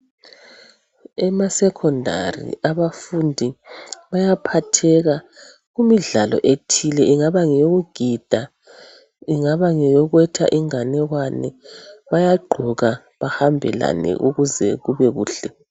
Emasecondary abafundi bayaphatheka kumidlalo ethile ingaba ngeyokugida, ingaba ngeyokwetha inganekwane bayagqoka bahambelane ukuze kube kuhle.